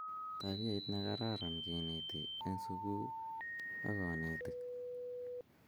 tabiait nekararan keneti en suku ak konetik